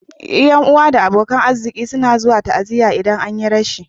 Ƴan'uwa da abokan arziki suna zuwa ta'aziya idan an yi rashi.